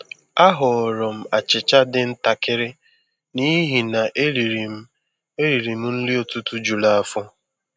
A họọrọ m achịcha dị ntakịrị n'ihi na eriri m eriri m nri ụtụtụ juru afọ.